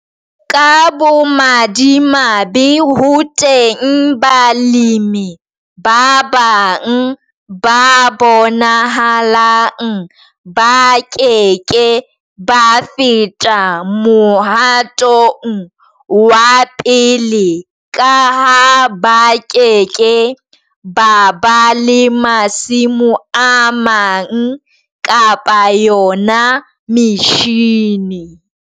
Ka bomadimabe ho teng balemi ba bang ba bonahalang ba ke ke ba feta Mohatong wa 1 ka ha ba ke ke ba ba le masimo a mang kapa yona metjhine.